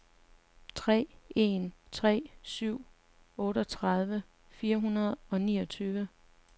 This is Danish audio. tre en tre syv otteogtredive fire hundrede og niogtyve